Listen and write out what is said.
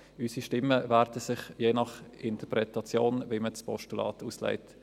Unsere Stimmen werden sich aufteilen, je nachdem, wie man das Postulat auslegt.